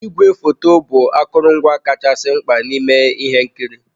Igwefoto bụ akụrụngwa kachasị mkpa n'ime ihe nkiri.